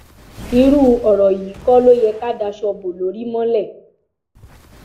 irú ọrọ yìí kọ ló yẹ ká daṣọ bo lórí mọlẹ